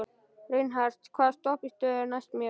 Reinhart, hvaða stoppistöð er næst mér?